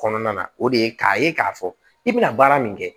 Kɔnɔna na o de ye k'a ye k'a fɔ i bɛna baara min kɛ